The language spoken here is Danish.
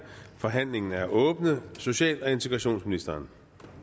forhandlingen er åbnet social og integrationsministeren